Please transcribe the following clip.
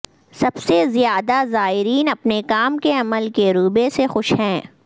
سب سے زیادہ زائرین اپنے کام کے عملے کے رویے سے خوش ہیں